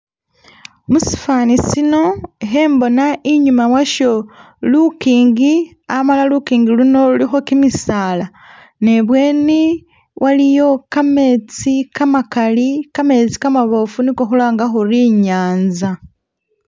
Musifani sino ikhembona inyuma washo lukingi amala lukingi luno lulikho kimisaala ne bweni waliyo kametsi kamakali kametsi kamabofu niko khulanga khuri inyanza